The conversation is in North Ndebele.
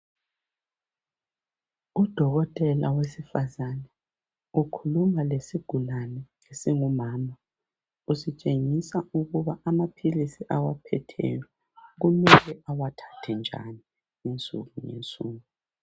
Udokotela wesifazane ukhuluma lesigulane esingumama. Usitshengisa ukuba amaphilisi awaphetheyo kumele awathathe njani insuku ngensuku.